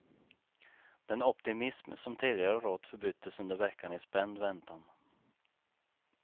Den optimism som tidigare rått förbyttes under veckan i spänd väntan.